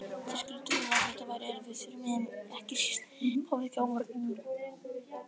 Þeir skildu vel að þetta væri erfitt fyrir mig, ekki síst hvað viðkæmi barninu mínu.